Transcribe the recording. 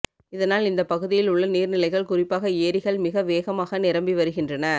இதனால் இந்த பகுதியில் உள்ள நீர்நிலைகள் குறிப்பாக ஏரிகள் மிக வேகமாக நிரம்பி வருகின்றன